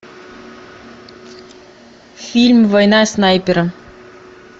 фильм война снайпера